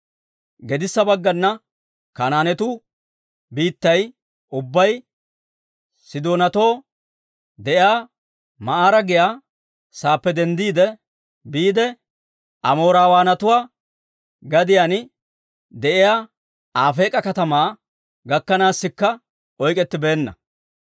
Gedissa baggana Kanaanetuu biittay ubbay, Sidoonatoo de'iyaa Ma'aara giyaa saappe denddiide biide, Amoorawaanatuwaa gadiyaan de'iyaa Afeek'a katamaa gakkanaassikka oyk'k'ettibeenna.